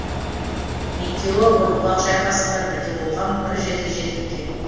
екеуі орбұлақ шайқасында бірге болған бір жерде жерленген